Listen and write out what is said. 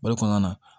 O de kɔnɔna na